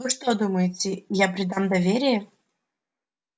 вы что думаете я предам доверие